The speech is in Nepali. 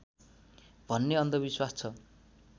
भन्ने अन्धविश्वास छ